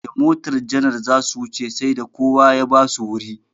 Da motar janar zasu wuce sai da kowa ya basu wuri.